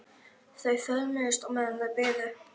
Þau föðmuðust á meðan þau biðu.